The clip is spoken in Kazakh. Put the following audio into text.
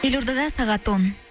елордада сағат он